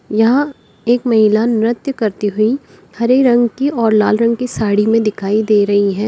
यहां एक महिला नृत्य करती हुई हरे रंग की और लाल रंग की साड़ी में दिखाई दे रही है।